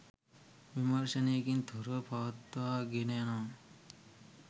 විමර්ෂනයකින් තොරව පවත්වා ගෙන යනවා